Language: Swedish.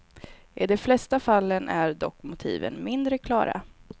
I de flesta fallen är dock motiven mindre klara.